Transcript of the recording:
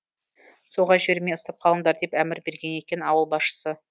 суға жібермей ұстап қалыңдар деп әмір берген екен ауыл басшысы